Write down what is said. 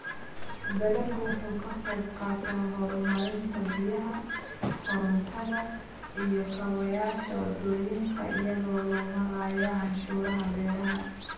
Dalaggu wuxuu ka qayb qaataa horumarinta biyaha, korontada, iyo kaabayaasha waddooyinka iyadoo loo marayo canshuuraha beeraha.